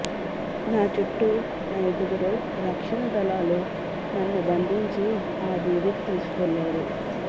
నా చుట్టూ అయిదుగురు రక్షణ దళాలు నన్ను బంధించి ఆ దీవికి తీసుకెళ్లారు